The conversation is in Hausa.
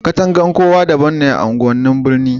Katangar kowa daban ne a unguwannin birni